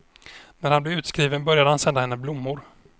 När han blev utskriven började han sända henne blommor.